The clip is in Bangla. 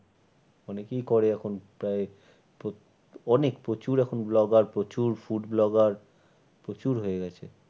অনেকেই করে এখন প্রায় অনেক প্রচুর এখন blogger প্রচুর food blogger প্রচুর হয়ে গেছে।